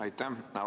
Aitäh!